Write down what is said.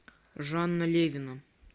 жанна левина